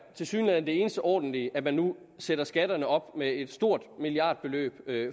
tilsyneladende eneste ordentlige er nu at sætter skatterne op med et stort milliardbeløb